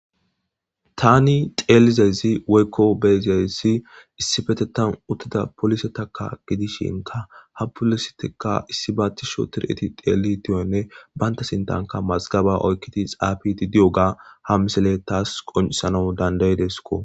tani tezayssi woykko be'izayssi issifetetan uttida polisettakka gidishshinkka ha polisitekka issi baa tishi otiiri teelidi diyoganne baynta sintankka mazgaba oykidi xaafidi diyoggao ha misiley taas qoncissanaw danda'ideskko